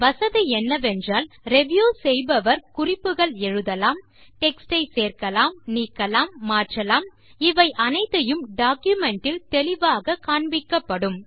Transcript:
வசதி என்னவென்றால் ரிவ்யூ செய்பவர் குறிப்புகள் எழுதலாம் டெக்ஸ்ட் ஐ சேர்க்கலாம் நீக்கலாம் மாற்றலாம் இவை அத்தனையும் டாக்குமென்ட் இல் தெளிவாக காண்பிக்கப்படும்